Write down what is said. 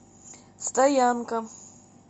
стоянка